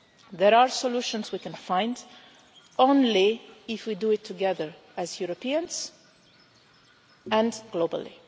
There are solutions we can find only if we do it together, as Europeans and globally.